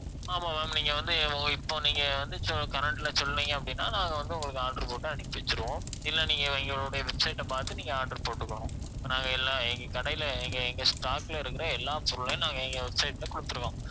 ஆமாம் ma'am நீங்க வந்து ஒங்~ இப்ப நீங்க வந்து சொ~ current ல சொன்னிங்க அப்படின்னா நாங்க வந்து உங்களுக்கு order போட்டு அனுப்பி வெச்சிடுவோம் இல்ல நீங்க எங்க~ எங்களுடைய website பார்த்து நீங்க order போட்டுக்கணும் நாங்க எல்லா எங்க கடையில எங்க எங்க stock ல இருக்கிற எல்லா பொருளையும் நாங்க எங்க website ல குடுத்திடுவோம்